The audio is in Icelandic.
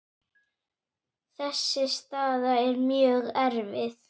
Þessi staða er mjög erfið.